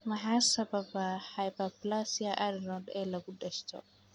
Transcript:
Maxaa sababa hyperplasia adrenal ee lagu dhasho?